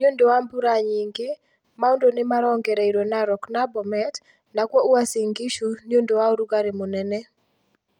Ni͂ u͂ndu͂ wa mbura nyingi͂, mau͂ndu͂ ni͂ marongereirio Narok na Bomet, nakuo Uasin Gishu ni͂ u͂ndu͂ wa u͂rugari͂ mu͂nene.